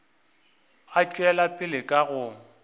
a tšwela pele ka go